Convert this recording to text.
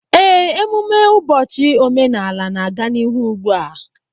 Ee, emume ụbọchị omenala na-aga n'ihu ugbu a